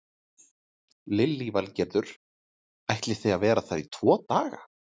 Lillý Valgerður: Ætlið þið að vera þar í tvo daga?